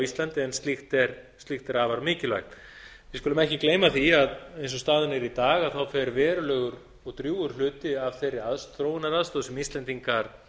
íslandi en slíkt er afar mikilvægt við skulum ekki gleyma því að eigi og staðan er í dag fer verulegur og drjúgur hluti af þeirri þróunaraðstoð sem íslendingar